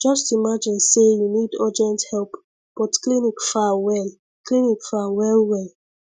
just imagine say you need urgent help but clinic far well clinic far well well